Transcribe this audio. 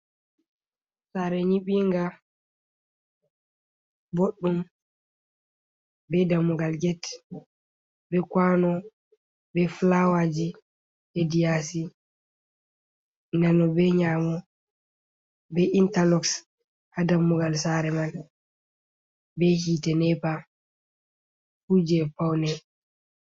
Saare nyiɓinga boɗɗum, Bee dammugal get, bee kuwano, bee fulawaji hedi yaasi, nano bee nyaamo bee intalok haa dammugal saare majum, bee hiite nepa fuu jei pawne.